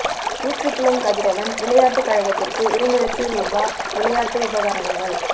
ஊற்றுப்புலம் கதிரவன் விளையாட்டுக் கழகத்திற்கு இரண்டு இலட்சம் ரூபா விளையாட்டு உபகரணங்கள்